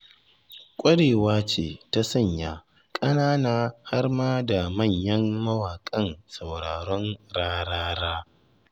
Ƙwarewa ce ta sanya ƙanana har ma da manyan mawaƙan sauraron Rarara.